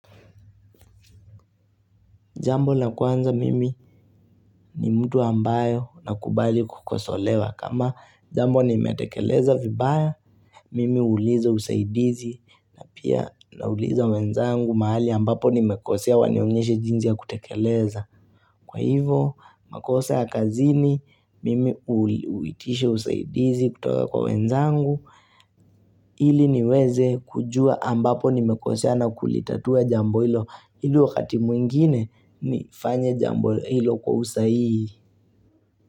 Jambo la kwanza mimi ni mtu ambayo nakubali kukosolewa kama jambo nimetekeleza vibaya, mimi huuliza usaidizi na pia nauliza wenzangu mahali ambapo nimekosea wanionyeshe jinzi ya kutekeleza. Kwa hivo makosa ya kazini mimi uli huitisha usaidizi kutoka kwa wenzangu ili niweze kujua ambapo nimekosea na kulitatua jambo hilo ili wakati mwingine nifanye jambo hilo kwa usahihi.